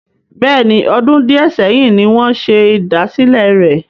Bẹ́ẹ̀ni, ọdún di ẹ sẹ́yìn ni wọn ṣe ìdásílẹ́ rẹ.